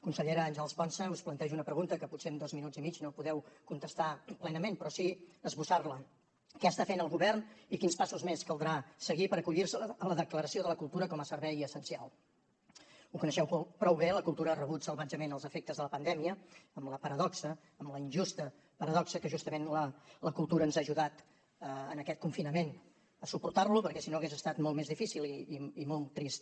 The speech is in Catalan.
consellera àngels ponsa us plantejo una pregunta que potser en dos minuts i mig no podeu contestar plenament però sí esbossar la què està fent el govern i quins passos més caldrà seguir per acollir se a la declaració de la cultura com a servei essencial ho coneixeu prou bé la cultura ha rebut salvatgement els efectes de la pandèmia amb la paradoxa amb la injusta paradoxa que justament la cultura ens ha ajudat en aquest confinament a suportar lo perquè si no hagués estat molt més difícil i molt trist